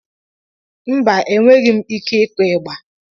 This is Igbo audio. Mba, enweghị m ike ịkụ ịgba.